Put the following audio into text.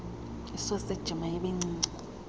isoseji mayibe ncinci